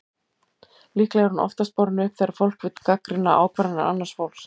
Líklega er hún oftast borin upp þegar fólk vill gagnrýna ákvarðanir annars fólks.